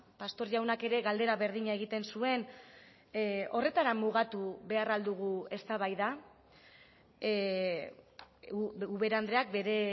pastor jaunak ere galdera berdina egiten zuen horretara mugatu behar al dugu eztabaida ubera andreak bere